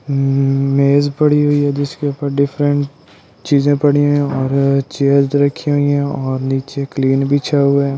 मेज पड़ी हुई है जिसके ऊपर डिफरेंट चीजें पड़ी हुई हैं और चेयर्स रखी हुई हैं और नीचे क्लीन बिछा हुआ है।